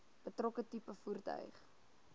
betrokke tipe voertuig